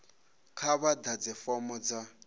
kha vha ḓadze fomo dza